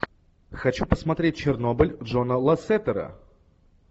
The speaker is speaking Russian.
хочу посмотреть чернобыль джона лассетера